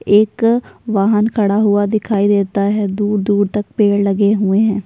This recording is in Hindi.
एक वहां खड़ा हुआ दिखाई देता है। दूर-दूर तक पेड़ लगे हुए हैं।